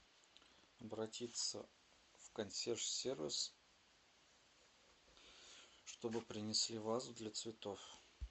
обратиться в консьерж сервис чтобы принесли вазу для цветов